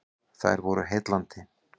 Þær voru heillandi.